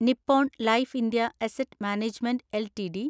Nippon life India asset management LTD